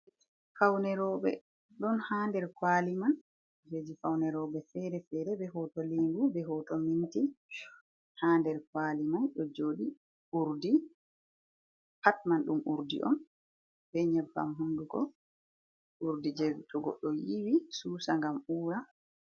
Fawne robe. Ɗon ha nder kawali man. Kujeji faune robe fere-fere. Be hoto lingu, be hoto minti ha nɗer kaliman ɗo joɗi. Urɗi, pat man ɗum urɗi on. Be nyebbam honɗuko. Urɗi je goɗɗo to yiwi susa ngam ura.